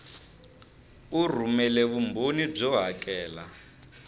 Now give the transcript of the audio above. u rhumela vumbhoni byo hakela